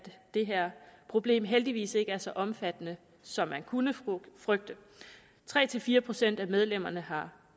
det her problem heldigvis ikke er så omfattende som man kunne frygte tre fire procent af medlemmerne har